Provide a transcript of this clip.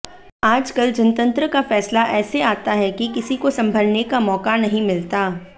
आजकल जनतंत्र का फैसला ऐसे आता है की किसी को संभलने का मौका नही मिलता